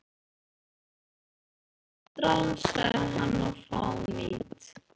Það eru vond ráð, sagði hann,-og fánýt.